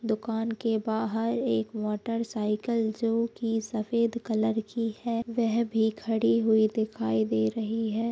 दुकान के बाहर एक मोटर साइकिल जो की सफेद कलर की है वह भी खड़ी हुई दिखाई दे रही है।